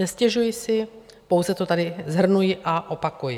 Nestěžuji si, pouze to tady shrnuji a opakuji.